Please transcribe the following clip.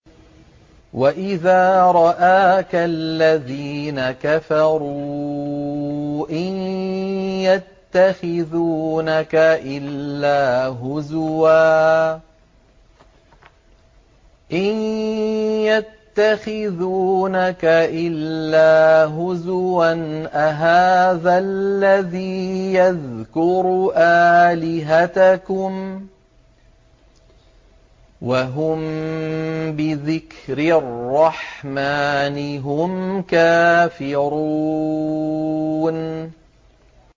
وَإِذَا رَآكَ الَّذِينَ كَفَرُوا إِن يَتَّخِذُونَكَ إِلَّا هُزُوًا أَهَٰذَا الَّذِي يَذْكُرُ آلِهَتَكُمْ وَهُم بِذِكْرِ الرَّحْمَٰنِ هُمْ كَافِرُونَ